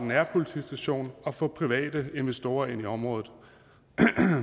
nærpolitistation og få private investorer ind i området